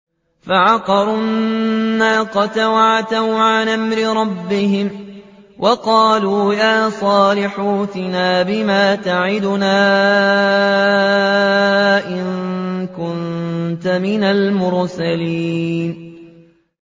فَعَقَرُوا النَّاقَةَ وَعَتَوْا عَنْ أَمْرِ رَبِّهِمْ وَقَالُوا يَا صَالِحُ ائْتِنَا بِمَا تَعِدُنَا إِن كُنتَ مِنَ الْمُرْسَلِينَ